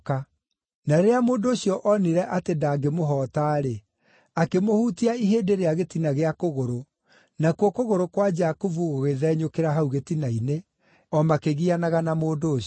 Na rĩrĩa mũndũ ũcio onire atĩ ndangĩmũhoota-rĩ, akĩmũhutia ihĩndĩ rĩa gĩtina gĩa kũgũrũ, nakuo kũgũrũ kwa Jakubu gũgĩthenyũkĩra hau gĩtina-inĩ, o makĩgianaga na mũndũ ũcio.